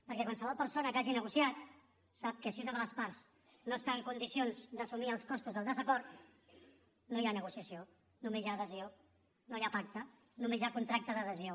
perquè qualsevol persona que hagi negociat sap que si una de les parts no està en condicions d’assumir els costos del desacord no hi ha negociació només hi ha adhesió no hi ha pacte només hi ha contracte d’adhesió